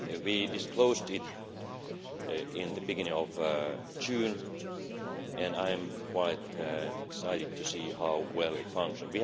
We disclosed it at the beginning of June and I am quite excited to see how well it functions.